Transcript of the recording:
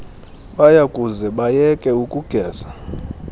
bayakuze bayeke ukugeza